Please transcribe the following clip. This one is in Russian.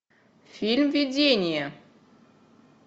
фильм видение